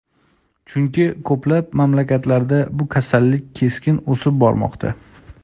Chunki ko‘plab mamlakatlarda bu kasallik keskin o‘sib bormoqda.